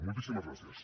moltíssimes gràcies